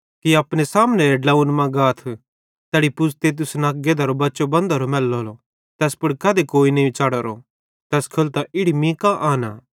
अपने सामनेबाले ड्लोंव्वे मां गाथ तैड़ी पुज़ते तुसन अक गधेरो बच्चो बंधोरो मैलेलो ज़ैस पुड़ कधी कोई नईं च़ढ़ोरो तैस खोलतां इड़ी मीं कां आनां